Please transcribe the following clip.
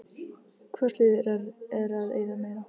Hvort liðið er að eyða meira?